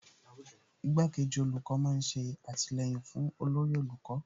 Igbá kejì olórí olùkọ́ má ń ṣe àtìlẹyìn fún olórí olùkọ́